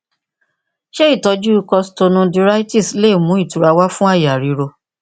ṣé ìtọjú kositonudíráítíìsì lè mú ìtura wá fú àyà ríro